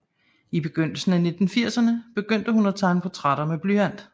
I begyndelsen af 1980erne begyndte hun at tegne portrætter med blyant